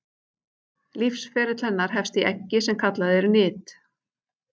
Lífsferill hennar hefst í eggi sem kallað er nit.